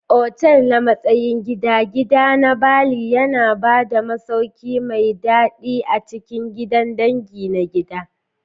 Otal na matsayin Gida, Gida na Bali yana ba da masauki mai daɗi a cikin gidan dangi na gida.